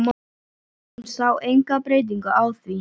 Hún sá enga breytingu á því.